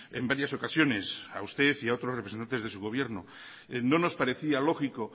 en varias ocasiones a usted y otros representantes de su gobierno no nos parecía lógico